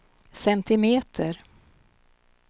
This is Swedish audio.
centimeter